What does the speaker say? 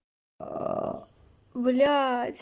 блять